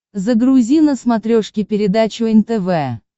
загрузи на смотрешке передачу нтв